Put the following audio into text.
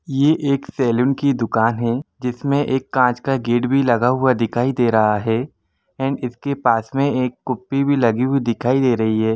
ये एक सेलुन की दुकान हैं जिस मे एक कांच का गेट भी लगा हुआ दिखाई काई दे रहा हैं एंड इस के पास मे एक कुप्पि भी लगी हुई दिखाई दे रही हैं ।